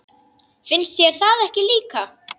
Finnst þér það ekki líka?